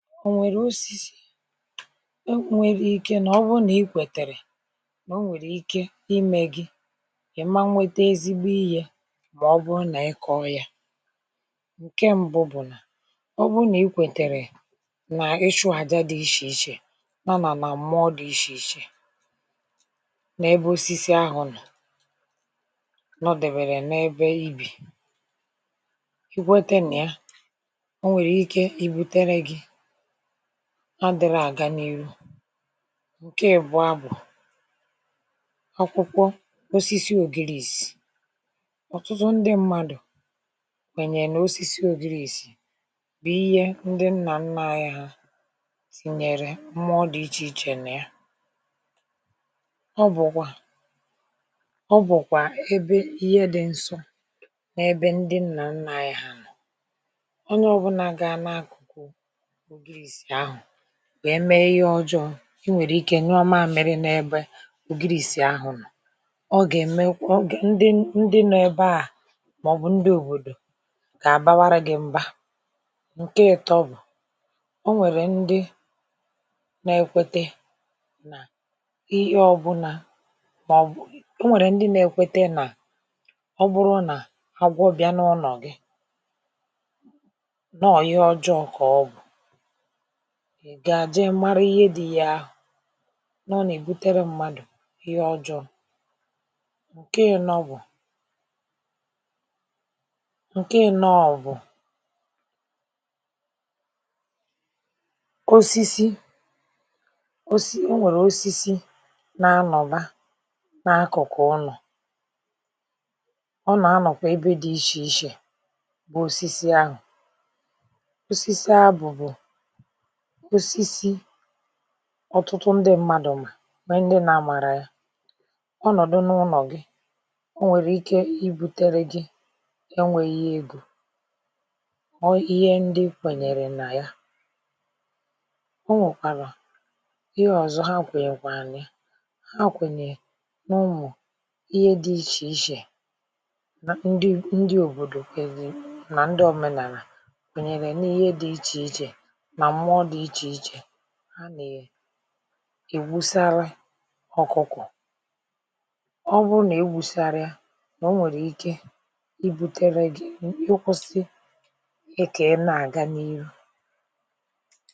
O nwere osisi e nwere ike na ọ bụrụ na i kwetere na o nwere ike ime gị ị ma n nwete ezigbo ihe ma ọ bụrụ na ị kọọ ya. Nke mbụ bụ na ọ bụrụ na i kwetere na ịchụ aja dị iche iche ma ma ma mmụọ dị iche iche n'ebe osisi ahụ nọ nọdewere n'ebe i bi. I kwete nịya o nwere ike ibutere gị adịrọ aga n'ihu. Nke ị́bụa bụ akwụkwọ osisi Ogirirsi. Ọtụtụ ndị mmadụ kwenyere na akwụkwọ Ogirirsi bụ ihe ndị nna nna anyị ha tinyere mmụọ dị iche iche na ya. Ọ bụkwa ọ bụkwa ebe ihe dị nsọ n'ebe ndị nna nna anyị ha nọ. Onye ọbụna gaa n'akụkụ Ogirirsi ahụ wee mee ihe ọjọọ, i nwere ike nyụọ mamịrị n'ebe Ogirirsi ahụ nọ, ọ ga-emekwa ọ gae ndị ndị nọ ebe aa maọbụ ndị obodo ga-abawarụ gị mba. Nke ị́tọ́ bụ, o nwere ndị na-ekwete na ihe ọbụna o nwere ndị na-ekwete na agwọ bịa n'ụnọ gị nọọ ihe ọjọọ ka ọ bụ. Ị gaa jee mara ihe bụ ihe ahụ. Nọ na e butere mmadụ ihe ọjọọ. Nke ị́nọ bụ Nke ị́nọ ọ bụ osisi osi o nwere osisi na-anọba na n'akụkụ ụnọ. Ọ na-anọkwa ebe dị iche iche bụ osisi ahụ. Osisi abụ bụ osisi ọtụtụ ndị mmadụ ma nwee ndị na amarọ ya. Ọ nọdụ n'ụnọ gị, o nwere ike ibutere gị enweghi ego. Ọ ihe ndị kwenyere na ya. O nwekwara ihe ọzọ ha kwenyekwaa na ya. Ha kwenyere n'ụmụ ihe dị iche iche na ndị ndị obodo na ndị omenala kwenyere na ihe dị iche iche na mmụọ dị iche iche ha na e ewusara ọkụkọ. Ọ bụrụ na e wusarọ ya, na o nwere ike ibutere gị i ihe kwesịrị ka ị na-aga n'ihu.